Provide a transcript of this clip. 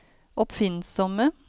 oppfinnsomme